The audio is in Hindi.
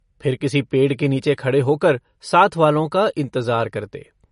फिर किसी पेड़ के नीचे खड़े होकर साथवालो का इन्तजार करते।